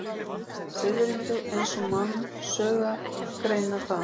Fiðrildi eins og mannsaugað greinir það.